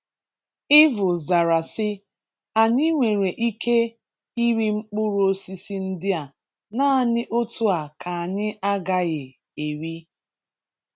Ịvụ zara si " anyị nwere ịké ịrị mkpụrụ osịsị ndị a, nanị otu a ka anyị agaghị érị".